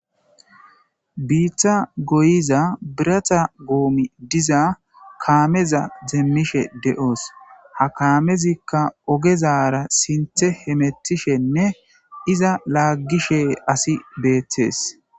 Biitta goyiza birata gomay diza kammeza demishshe de"os ha kamezikka ogezara sinththe hemetishshenne iza lagishe asi bettes